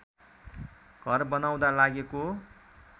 घर बनाउँदा लागेको